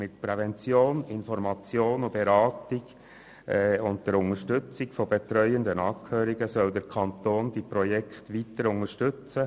Mit Prävention, Information und Beratung und der Unterstützung von betreuenden Angehörigen soll der Kanton die Projekte weiter unterstützen.